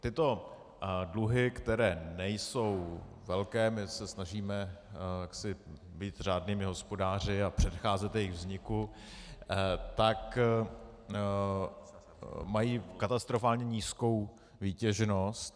Tyto dluhy, které nejsou velké, my se snažíme jaksi být řádnými hospodáři a předcházet jejich vzniku, tak mají katastrofálně nízkou výtěžnost.